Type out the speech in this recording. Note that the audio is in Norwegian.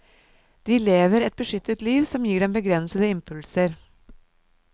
De lever et beskyttet liv som gir dem begrensede impulser.